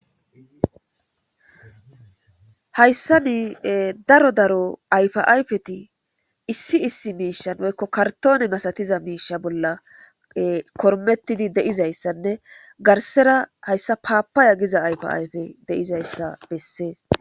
Hayssa nii daro daro ayfiayfeti issi issi miishan woykko kartoone masatiza miisha bolla kormettidi deizayssanne garsera hayssa paapaya giza ayfayfe deizayssa bessees.